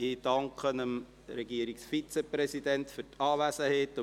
Ich danke dem Regierungsvizepräsident für die Anwesenheit;